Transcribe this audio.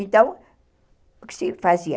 Então, o que se fazia?